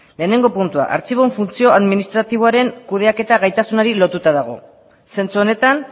lehenengo puntua artxiboen funtzioa administratiboaren kudeaketa gaitasunari lotuta dago zentzu honetan